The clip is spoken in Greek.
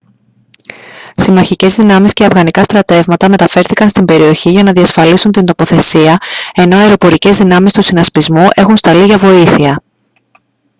συμμαχικές δυνάμεις και αφγανικά στρατεύματα μεταφέρθηκαν στην περιοχή για να διασφαλίσουν την τοποθεσία ενώ αεροπορικές δυνάμεις του συνασπισμού έχουν σταλεί για βοήθεια